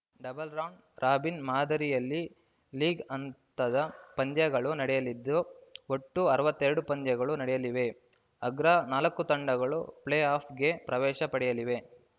double round robin ಮಾದರಿಯಲ್ಲಿ league ಹಂತದ ಪಂದ್ಯಗಳು ನಡೆಯಲಿದ್ದು ಒಟ್ಟು ಅರವತ್ತೇರಡು ಪಂದ್ಯಗಳು ನಡೆಯಲಿವೆ ಅಗ್ರ ನಾಲ್ಕು ತಂಡಗಳು ಪ್ಲೇಆಫ್‌ಗೆ ಪ್ರವೇಶ ಪಡೆಯಲಿವೆ